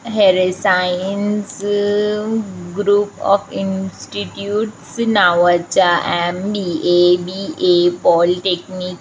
Rasayans group of institute नावाच्या आणि MBA. BBA. Polytechnic --